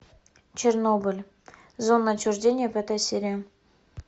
чернобыль зона отчуждения пятая серия